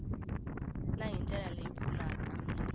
na hi ndlela leyi pfunaka